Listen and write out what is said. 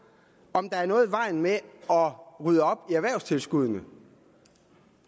om der er noget i vejen med at rydde op i erhvervstilskuddene